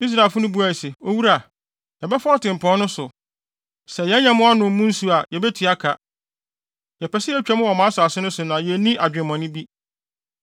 Israelfo no buae se, “Owura, yɛbɛfa ɔtempɔn no so. Sɛ yɛn nyɛmmoa nom mo nsu a, yebetua ka. Yɛpɛ sɛ yetwa mu wɔ mo asase so na yenni adwemmɔne bi.”